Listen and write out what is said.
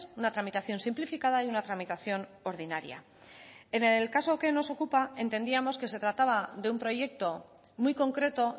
una tramitación simplificada y una tramitación ordinaria en el caso que nos ocupa entendíamos que se trataba de un proyecto muy concreto